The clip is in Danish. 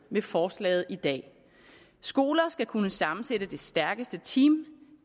med forslaget i dag skoler skal kunne sammensætte det stærkeste team